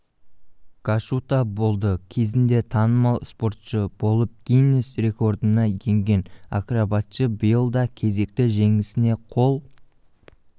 гашута болды кезінде танымал спортшы болып гиннес рекордына енген акробатшы биыл да кезекті жеңісіне қол